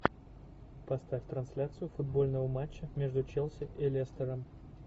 поставь трансляцию футбольного матча между челси и лестером